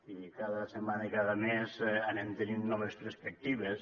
i cada setmana i cada mes anem tenint noves perspectives